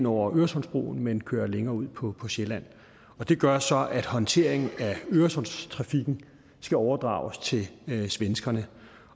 over øresundsbroen men køre længere ud på på sjælland det gør så at håndteringen af øresundstrafikken skal overdrages til svenskerne